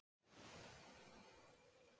Eitt land sker sig úr.